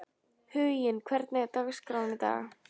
Huginn, hvernig er dagskráin í dag?